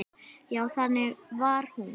Já, þannig var hún.